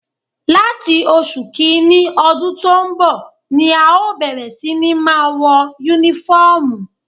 Láti oṣù kìíní ọdún tó ń bọ̀ ni à ó bẹ̀rẹ̀ sí ní máa wọ Únífọ́ọ̀mù